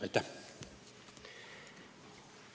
Aitäh!